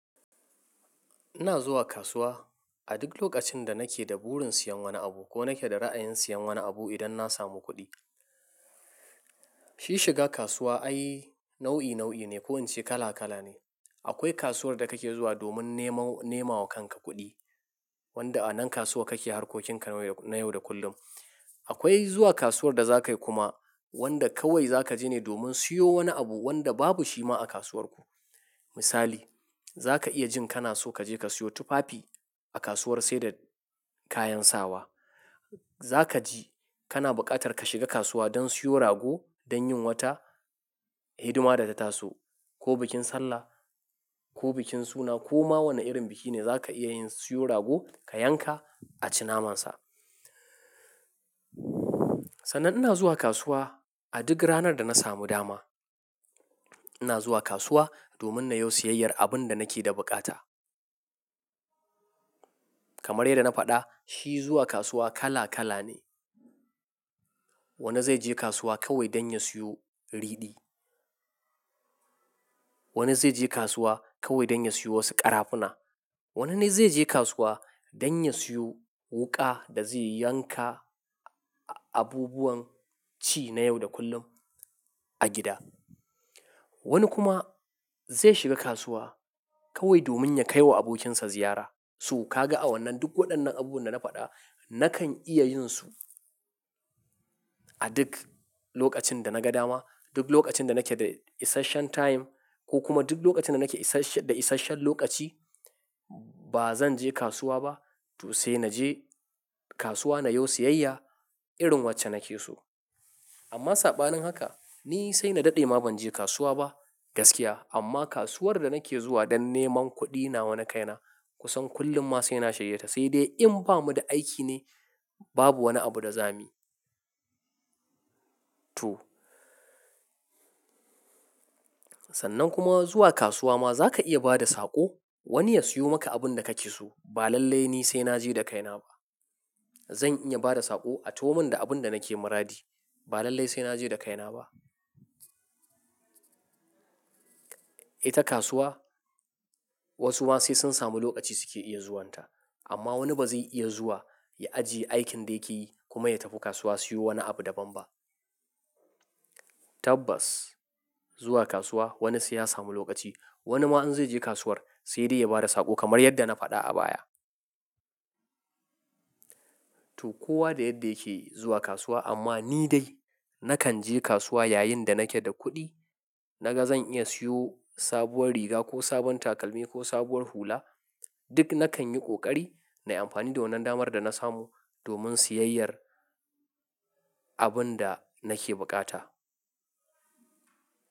Ina zuwa kasuwa a duk lokacin da nake da burin siyan wani abu ko nake da ra'ayin siyan wani abu idan na samu kuɗi. Shi shiga kasuwa ai nau'i nau'i ne ko in ce kala kala ne. Akwai kasuwar da kake zuwa domin nemo nemawa kanka kuɗi, wanda a nan kasuwa kake harkokin ka na yau da kullum. Akwai zuwa kasuwar da zakayi kuma wanda kawai zaka je ne domin siyo wani abu wanda babu shi ma a kasuwar ku. Misali, za ka iya jin kana so kaje ka siyo tufafi a kasuwar saida kayan sawa. Za kaji kana buƙatar ka shiga kasuwa don siyo rago don yin wata hidima da ta taso ko bikin sallah ko bikin suna ko ma wane irin biki ne zaka iya yin siyo rago ka yanka a ci naman sa. Sannan ina zuwa kasuwa a duk ranar da na samu dama. Ina zuwa kasuwa domin na yo siyayyar abinda nake da bukata. Kamar yadda na faɗa, shi zuwa kasuwa kala kala ne. Wani zai je kasuwa kawai don ya siyo ridi. Wani zai je kasuwa kawai don ya siyo wasu ƙarafuna. Wani dai zai je kasuwa don ya siyo wuka da zai yanka abubuwan ci na yau da kullum a gida. Wani kuma zai shiga kasuwa kawai domin ya kai wa abokinsa ziyara, so kaga a wannan duk wadannan abubuwan da na fada, nakan iya yinsu a duk lokacin da naga dama, duk lokacin da nake da isashen time ko kuma duk lokacin da nake da isashen lokaci ba zan je kasuwa ba. To sai naje kasuwa na yo siyayya irin wacce nake so. Amma saɓanin haka ni sai na daɗe ma ban je kasuwa ba gaskiya. Amma kasuwar da nake zuwa don neman kuɗi nawa na kaina kusan kullum ma sai na shaye ta. Sai dai in bamu da aiki ne babu wani abu da zamu yi. To. Sannan kuma zuwa kasuwa ma za ka iya ba da saƙo wani ya siyo maka abun da kake so. Ba lallai ni sai naje da kaina ba. Zan iya bada saƙo a taho mun da abun da nake muradi. Ba lallai sai naje da kaina ba. Ita kasuwa wasu ma sai sun samu lokaci suke iya zuwanta. Amma wani ba zai iya zuwa ya ajiye aikin da yake yi kuma ya tafi kasuwa siyo wani abu daban ba. Tabbas zuwa kasuwa wani sai ya samu lokaci. Wani ma in zai je kasuwar sai dai ya bada saƙo kamar yadda na faɗa a baya. To kowa da yadda yake zuwa kasuwa amma ni dai nakan je kasuwa yayin da nake da kuɗi. Naga zan iya siyo sabuwar riga ko sabon takalmi ko sabuwar hula. Duk nakan yi ƙoƙari na yi amfani da wannan damar da na samu domin siyayyar abun da nake buƙata.